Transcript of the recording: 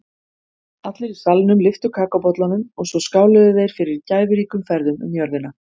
Allir í salnum lyftu kakóbollunum og svo skáluðu þeir fyrir gæfuríkum ferðum um jörðina.